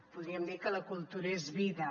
podríem dir que la cultura és vida